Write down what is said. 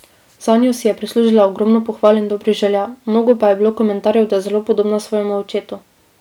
Zanjo si je prislužila ogromno pohval in dobrih želja, mnogo pa je bilo komentarjev, da je zelo podobna svojemu očetu.